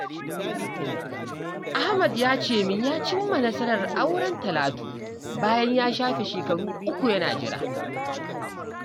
Ahmad ya ce min ya cimma nasarar auren Talatu bayan ya shafe shekaru uku yana jira